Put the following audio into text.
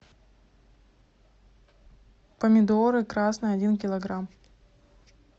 помидоры красные один килограмм